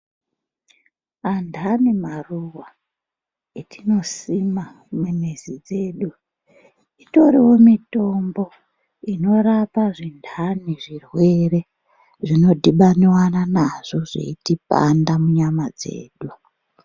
Andani maruva etino sima mu mizi dzedu itoriwo mitombo ino rapa zvindani zvirwere zvino dhibaniwana nazvo zveiti panda mu nyama dzedu.